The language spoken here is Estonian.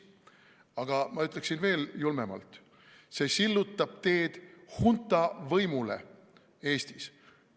Aga ma ütleksin veel julmemalt: see sillutab teed hunta võimule Eestis.